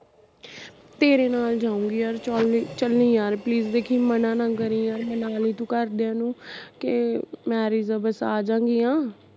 ਤੇਰੇ ਨਾਲ ਜਾਊਂਗੀ ਯਰ ਚਲੀ ਯਾਰ please ਦੇਖੀ ਮਨਾ ਨਾ ਕਰੀ ਯਾਰ ਮਨਾਲੀ ਤੂੰ ਘਰਦਿਆ ਨੂੰ ਕਿ marriage ਆ ਬਸ ਆਜਾਂਗੀਆ